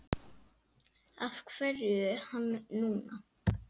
Af hverju hann núna?